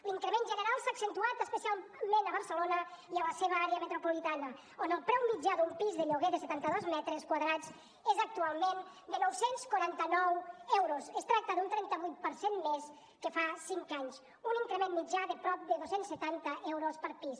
l’increment general s’ha accentuat especialment a barcelona i a la seva àrea metropolitana on el preu mitjà d’un pis de lloguer de setanta dos metres quadrats és actualment de nou cents i quaranta nou euros es tracta d’un trenta vuit per cent més que fa cinc anys un increment mitjà de prop de dos cents i setanta euros per pis